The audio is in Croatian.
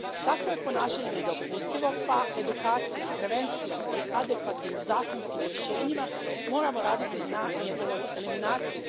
Takvo je ponašanje nedopustivo pa edukacijom, prevencijom i adekvatnim zakonskim rješenjima moramo raditi na njegovoj eliminaciji.